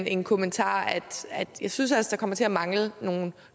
en kommentar jeg synes der kommer til at mangle nogle